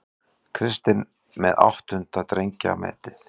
Kristinn með áttunda drengjametið